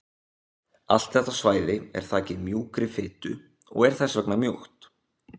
Allt þetta svæði er þakið mjúkri fitu og er þess vegna mjúkt.